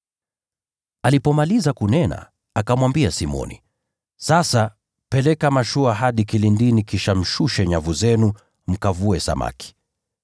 Alipomaliza kunena, akamwambia Simoni, “Sasa peleka mashua hadi kilindini kisha mshushe nyavu zenu mkavue samaki.”